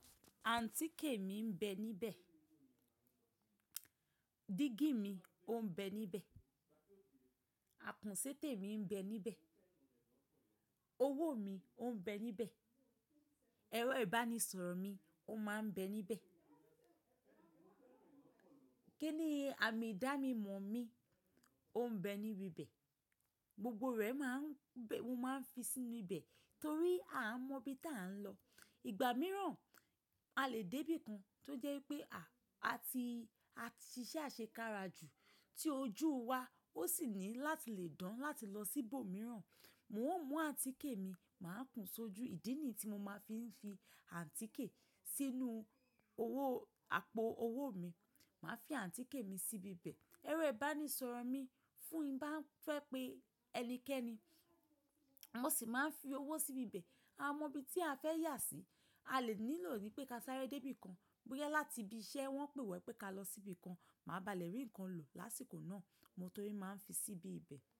Àǹtíkè mi ń bẹ níbẹ̀, dígí mi ò ń bẹ níbẹ̀, akun ṣẹ́tẹ̀ mi ń bẹ níbẹ̀, owó mi ò ń bẹ níbẹ̀, ẹ̀rọ ìbánisọ̀rọ̀ mi ò máa ń bẹ níbẹ̀, kíni, àmì Ìdánimọ̀ mi ò ń bẹ níbi bẹ̀. Gbogbo rẹ̀ mo máa ń fi sínú ibẹ̀ torí a mọ ibi tí a ń lọ. Ìgbà mìíràn a lè dé bí i kan tó jẹ́ wipé a ti ṣe ise àṣekára jù tí ojú wa ó sì ní láti le dán láti lọ sí ibòmíràn. Moo mú àntikè mi, màá kún sójú ìdí nì yii tí mo máa n fi fi àǹtíkè sínú àpò owó mi, màá fi àǹtíkè mi síbi bẹ̀. Ẹ̀rọ ìbánisọ̀rọ̀ mi fún n bá ń fẹ́ pé ẹnikẹ́ni mo sì máa ń fi owó síbi bẹ̀. Amọ bi tí a fẹ́ yà sí, a lè nílò nipé ká sáré dé bí i kan bóyá láti ibi iṣẹ́ wọ́n pè wa wípé ká lọ síbi kan, màá balẹ̀ rí ǹkan lò lásìkò náà. Mo torí máa ń fi síbi ibẹ̀